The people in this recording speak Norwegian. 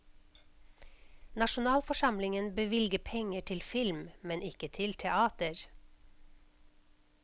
Nasjonalforsamlingen bevilger penger til film, men ikke til teater.